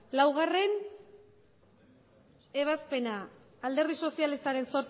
laugarrena ebazpena alderdi sozialistaren